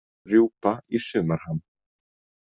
Rjúpa í sumarham.